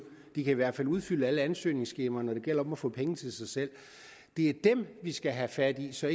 de kan i hvert fald udfylde alle ansøgningsskemaer når det gælder om at få penge til sig selv det er dem vi skal have fat i så